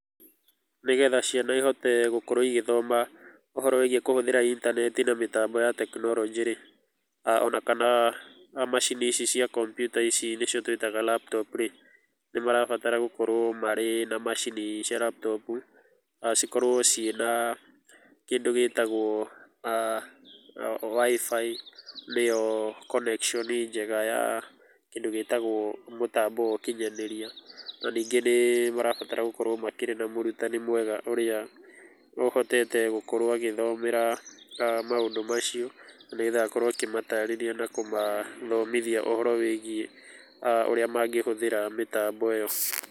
Nĩgetha ciana ihote gũkorwo igĩthoma ũhoro wĩgiĩ kũhũthĩra intaneti na mĩtambo ya tekinoronjĩ-rĩ, o na kana macini ici cia kompiuta ici nĩcio twĩtaga laptop rĩ, nĩ marabatara gũkorũo marĩ na macini cia laptop na cikorũo ciĩna kĩndũ gĩtagũo Wi-Fi nĩyo connection njega ya kĩndũ gĩtagwo mũtambo wa ũkinyanĩria. Na ningĩ nĩ marabatara gũkorwo makĩrĩ na mũrutani mwega, ũrĩa ũhotete gũkorũo agĩthomera maũndũ macio, nĩgetha akorũoa akĩmataarĩria na kũmathomithia ũhoro wĩgiĩ ũrĩa mangĩhũthĩra mĩtambo ĩ yo.